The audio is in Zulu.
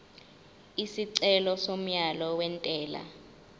isicelo somyalo wentela